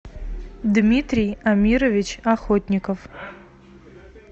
дмитрий амирович охотников